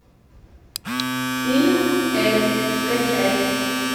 фильм эльф скачай